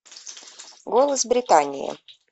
голос британии